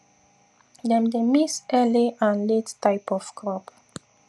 dem dey mix early and late type of crop